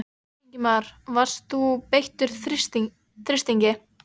Ingimar: Varst þú beittur þrýstingi?